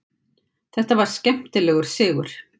Þetta var skemmtilegur sigur.